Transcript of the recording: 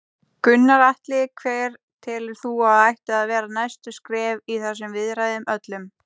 Gunnar Atli: Hver telur þú að ættu að vera næstu skref í þessum viðræðum öllum?